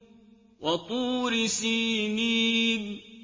وَطُورِ سِينِينَ